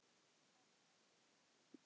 Ari glotti og drakk enn.